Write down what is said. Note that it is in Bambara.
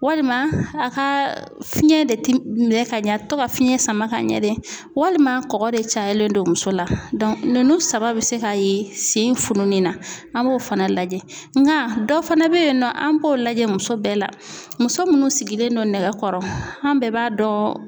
Walima a ka fiɲɛ de minɛ ka ɲɛ tɔ ka fiɲɛ sama ka ɲɛ de walima kɔgɔ de cayalen don muso la ninnu saba bɛ se ka ye sen fununni na an b'o fana lajɛ nka dɔ fana bɛyennɔ an b'o lajɛ muso bɛɛ la muso minnu sigilen don nɛgɛkɔrɔ an bɛɛ b'a dɔn.